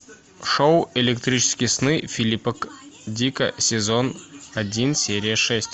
шоу электрические сны филиппа дика сезон один серия шесть